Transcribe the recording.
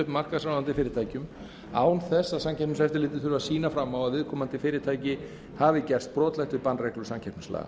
markaðsráðandi fyrirtækjum án þess að samkeppniseftirlitið þurfi að sýna fram á að viðkomandi fyrirtæki hafi gerst brotlegt við bannreglur samkeppnislaga